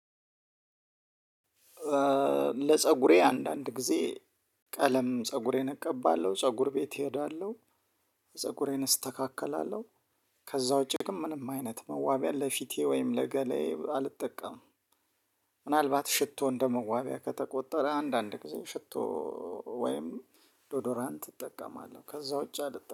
ለፀጉሬ አንዳንድ ጊዜ ቀለም ፀጉሬን እቀባለሁ ፀጉር ቤት እሄዳለሁ ፀጉሬን እስተካከላለሁ። ከዛ ውጪ ግን ምንም አይነት መዋቢያ ለፊቴ ወይም ለገላየ አልጠቀምም። ምናልባት ሽቶ እንደመዋቢያ ከተቆጠረ አንዳንድ ጊዜ ሽቶ ወይም ዶዶራንት እጠቀማለሁ። ከዛ ውጪ አልጠቀምም